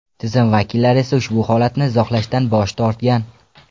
Tizim vakillari esa ushbu holatni izohlashdan bosh tortgan.